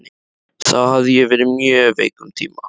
Þá hafði ég verið mjög veik um tíma.